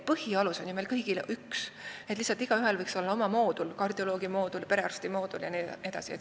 Põhialus on meil kõigil ju üks, lihtsalt igaühel võiks olla oma moodul, kardioloogi moodul, perearsti moodul jne.